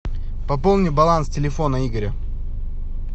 пополни баланс телефона игоря